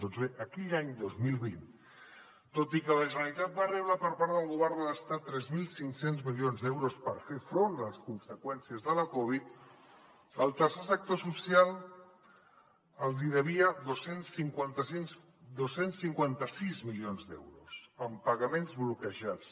doncs bé aquell any dos mil vint tot i que la generalitat va rebre per part del govern de l’estat tres mil cinc cents milions d’euros per fer front a les conseqüències de la covid al tercer sector social els hi devia dos cents i cinquanta sis milions d’euros en pagaments bloquejats